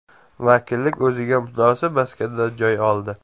Vakillik o‘ziga munosib maskandan joy oldi.